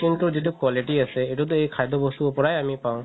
medicine ৰ তোৰ যিতো quality আছে সেইটো আমি খাদ্য বস্তুৰ পৰাই আমি পাও